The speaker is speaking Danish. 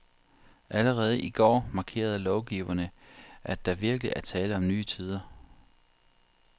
Allerede i går markerede lovgiverne, at der virkelig er tale om nye tider.